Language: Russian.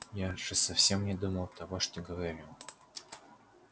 я же совсем не думал того что говорю